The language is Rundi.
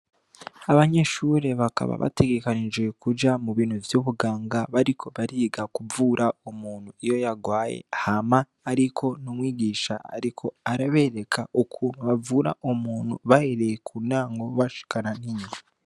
Abanyeshuri bakaba bategekanijiwe kuja mu bintu vy'ubuganga bariko bariga kuvura umuntu iyo yagwaye hama, ariko n'umwigisha, ariko arabereka ukuntu bavura umuntu bahereye ku nango bashikana ninye.